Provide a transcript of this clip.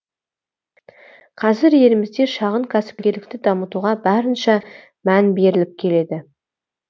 қазір елімізде шағын кәсіпкерлікті дамытуға барынша мән беріліп келеді